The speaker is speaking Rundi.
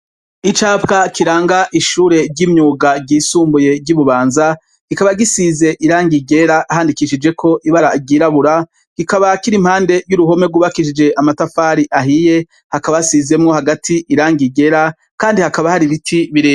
Icapa kiranga ishure ry'imyuga ryisumbuye ry'Ibubanza, kikaba gisize irangi ryera handikishijeko ibara ryirabura, kikaba kiri impande y'uruhome rwubakishije amatafari ahiye, hakaba hasizwemwo hagati irangi ryera kandi hakaba hari ibiti birebire.